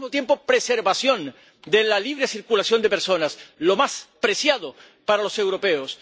pero, al mismo tiempo, preservación de la libre circulación de personas, lo más preciado para los europeos.